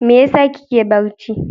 Me yasa kike barci?